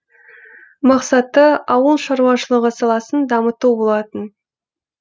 мақсаты ауыл шаруашылығы саласын дамыту болатын